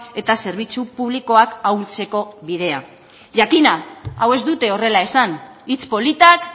eta zerbitzu publikoak ahultzeko bidea jakina hau ez dute horrela esan hitz politak